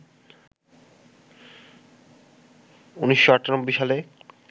১৯৯৮ সালে